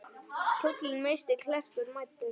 Kjólinn missti klerkur mæddur.